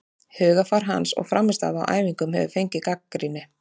Hugarfar hans og frammistaða á æfingum hefur fengið gagnrýni.